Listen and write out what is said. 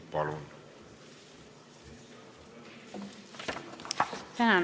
Palun!